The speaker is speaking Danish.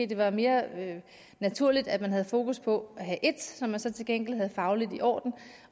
det var mere naturligt at man havde fokus på at have ét som man så til gengæld er fagligt i orden